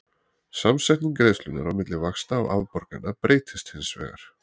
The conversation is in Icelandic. Samsetning greiðslunnar á milli vaxta og afborgana breytist hins vegar.